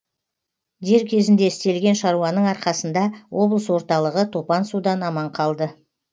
дер кезінде істелген шаруаның арқасында облыс орталығы топан судан аман қалды